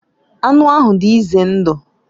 Anụ ahụ dị ize ndụ